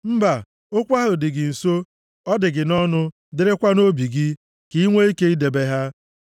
Mba, okwu ahụ dị gị nso, ọ dị gị nʼọnụ, dịrịkwa nʼobi gị, ka i nwee ike idebe ha.